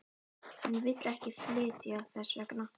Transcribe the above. Hún vill ekki flytja þess vegna.